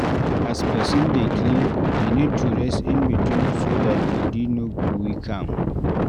As person dey clean e need to rest in between so that body no go weak am